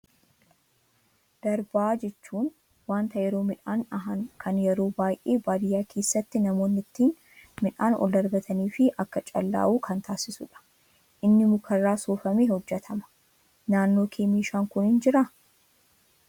Darbaa jechuun wanta yeroo midhaan dhahan kan yeroo baay'ee baadiyyaa keessatti namoonni ittiin midhaan ol darbatanii fi akka callaa'u kan taasisudha. Inni mukarraa soofamee hojjatama. Naannoo kee meeshaan kun jiraa?